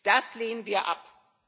Das lehnen wir ab.